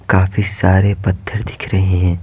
काफी सारे पत्थर दिख रहे हैं।